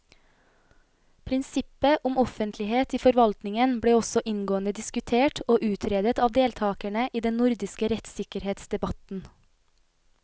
Prinsippet om offentlighet i forvaltningen ble også inngående diskutert og utredet av deltakerne i den nordiske rettssikkerhetsdebatten.